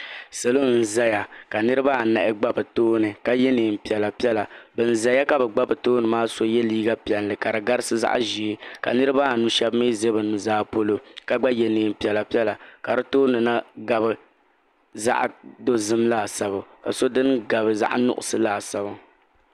Salo n zaya ka niriba anahi gba bɛ tooni ka ye niɛn'piɛla piɛla bin zaya ka bɛ gba bɛ tooni maa so ye liiga piɛlli ka di garisi zaɣa ʒee ka niriba anu sheba mee za bɛ nuzaa polo ka gba ye niɛn piɛla piɛla ka di tooni na gabi zaɣa dozim laasabu ka so dini gabi zaɣa nuɣuso laasabu.